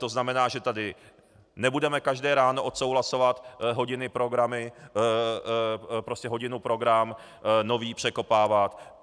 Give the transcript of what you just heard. To znamená, že tady nebudeme každé ráno odsouhlasovat hodinu program nový, překopávat.